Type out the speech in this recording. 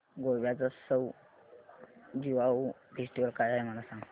गोव्याचा Sao Joao festival काय आहे मला सांग